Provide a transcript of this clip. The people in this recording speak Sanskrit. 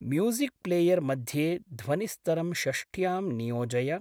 म्यूसिक्प्लेयर् मध्ये ध्वनिस्तरं षष्ट्यां नियोजय।